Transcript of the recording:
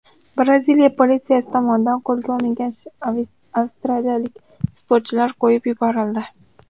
Braziliya politsiyasi tomonidan qo‘lga olingan avstraliyalik sportchilar qo‘yib yuborildi.